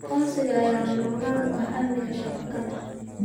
Aqoonsiga ayaa lama huraan u ah amniga shabakada